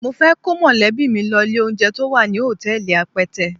Mo fẹ́ kó mọ̀lẹ́bí mi lọ ilé-oúnjẹ to wà ní hòtẹ́ẹ̀lì Apẹtẹ.